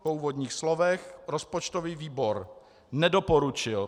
Po úvodních slovech rozpočtový výbor nedoporučil